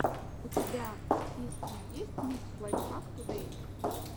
у тебя в списке есть микс лайфхак тудэй